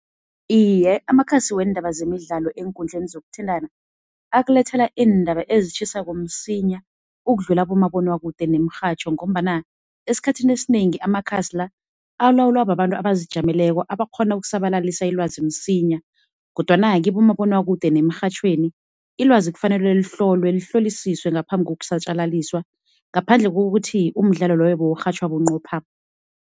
Iye, amakhasi weendaba zemidlalo eenkundleni zokuthintana, akulethela iindaba ezitjhisako msinya ukudlula abomabonwakude nemirhatjho ngombana esikhathini esinengi amakhasi la alawulwa babantu abazijameleko abakghona ukusabalalisa ilwazi msinya. Kodwana kibomabonwakude nemirhatjhweni ilwazi kufanele lihlolwe, lihlolisiswe ngaphambi kokusatjalaliswa ngaphandle kokuthi umdlalo loyo bewurhatjhwa bunqopha.